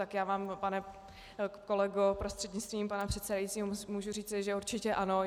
Tak já vám, pane kolego prostřednictvím pana předsedajícího, můžu říci, že určitě ano.